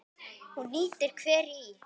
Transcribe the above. Hún nýtir hveri í